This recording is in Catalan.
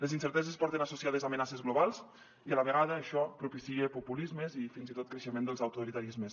les incer teses porten associades amenaces globals i a la vegada això propicia populismes i fins i tot creixement dels autoritarismes